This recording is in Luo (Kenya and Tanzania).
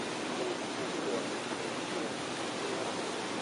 Wuok kuom twak, miel, nyiero,